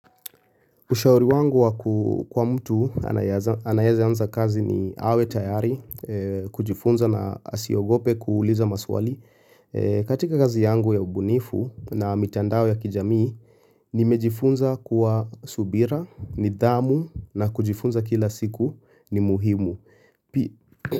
Ushauri wangu wa kwa mtu anayeanza kazi ni awe tayari, kujifunza na asiogope kuuliza maswali. Katika kazi yangu ya ubunifu na mitandao ya kijamii, nimejifunza kuwa subira, nidhamu na kujifunza kila siku ni muhimu.